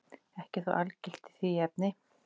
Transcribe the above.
Ekkert er þó algilt í því efni.